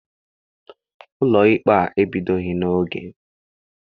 Ụlọikpe ahụ ebidoghị n'oge.